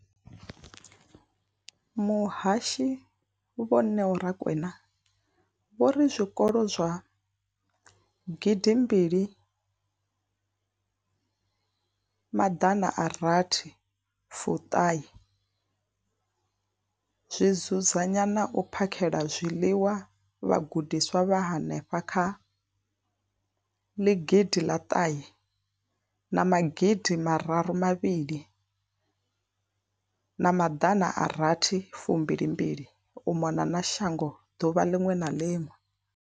Muhasho, Vho Neo Rakwena, vho ri zwikolo zwa gidi mbili maḓana a rathi fu ṱhae zwi dzudzanya na u phakhela zwiḽiwa vhagudiswa vha henefha kha ḽi gidi ḽa ṱahe na magidi mararu mavhili na maḓana a rathi fu mbili mbili u mona na shango ḓuvha ḽiṅwe na ḽiṅwe.